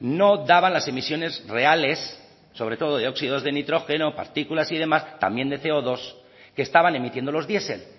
no daban las emisiones reales sobre todo de óxidos de nitrógeno partículas y demás también de ce o dos que estaban emitiendo los diesel